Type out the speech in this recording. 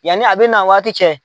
Yanni a bɛ na waati cɛ.